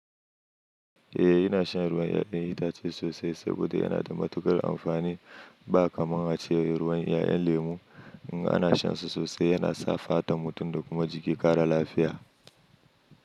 Eh ina shan ruwan 'ya'yan itace sosai saboda yana da matuƙar amfani ba kamar haka ce ruwan 'ya'yan lemu. In ana shan su sosai yana sa fatan mutum da kuma jiki ƙara lafiya.